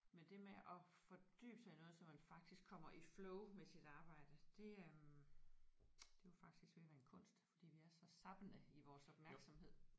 Men det med at fordybe sig i noget så man faktisk kommer i flow med sit arbejde det øh det er jo faktisk ved at være en kunst fordi vi er så zappende i vores opmærksomhed